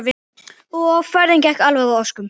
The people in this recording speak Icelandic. Ferðin gekk alveg að óskum.